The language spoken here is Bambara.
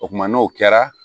O kumana n'o kɛra